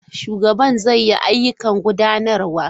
Shugaban zai yi ayyukan gudanarwa.